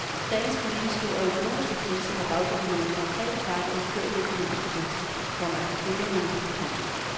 Dagens politiske og økonomiske krise har baggrund i nogle konkrete fejl i den førte økonomiske politik, komma hævder hun. punktum